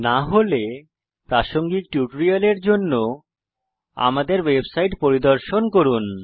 না হলে প্রাসঙ্গিক টিউটোরিয়ালের জন্য আমাদের ওয়েবসাইট পরিদর্শন করুন